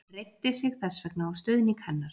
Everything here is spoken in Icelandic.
Hann reiddi sig þess vegna á stuðning hennar.